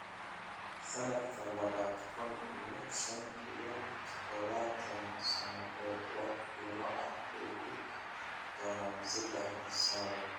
Sannadka labada kun iyo shan iyo tobanka sannadoodba wax qiimo ah bay ku yeelan doonaan saddex sannadood